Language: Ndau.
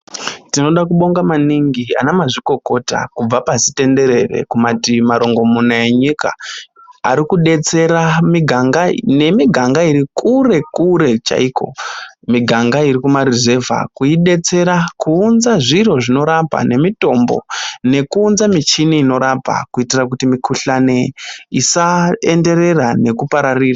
Tinoda kubonga maningi anamazvikokota kubva pasi tenderere kumativi marongomuna enyika arikudetsera miganga nemiganga iri kure kure chaiko miganga iri kumaruzevha kuidetsera kuunza zviro zvinorapa nemitombo nekuunza michini inorapa kuitira kuti mikuhlani isaenderera nekupararira.